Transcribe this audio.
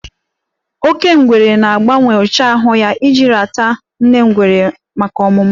Oke ngwere na-agbanwe ụcha ahụ ya iji rata nne ngwere maka ọmụmụ.